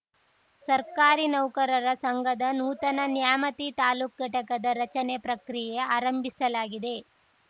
ಸರ್ಕಾರಿ ನೌಕರರ ಸಂಘದ ನೂತನ ನ್ಯಾಮತಿ ತಾಲೂಕು ಘಟಕದ ರಚನೆ ಪ್ರಕ್ರಿಯೆ ಆರಂಭಿಸಲಾಗಿದೆ